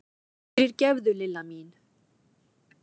Fyrirgefðu, Lilla mín!